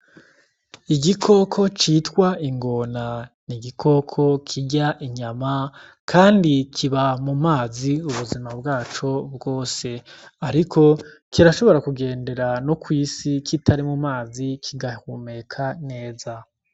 Igikoko citwa ingona, n'igikoko kirya inyama kandi kiba mu mazi ubuzima bwaco bwose, ariko kirashobora kugendera no kw'isi kitari mumazi kigahumeka neza.